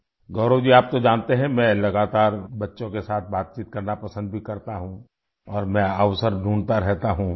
گورو جی آپ تو جانتے ہیں، میں لگاتار بچوں کے ساتھ بات چیت کرنا پسند بھی کرتا ہوں اور میں موقع تلاش کرتا رہتا ہوں